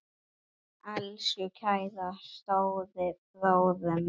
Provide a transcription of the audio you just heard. Elsku kæri stóri bróðir minn.